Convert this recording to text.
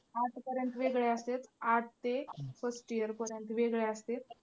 आठपर्यंत वेगळे असत्यात. आठ ते first year पर्यंत वेगळे असत्यात.